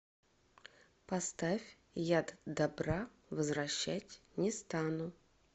поставь яд добра возвращать не стану